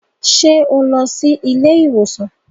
Ṣe o lọ sí ilé-ìwosan?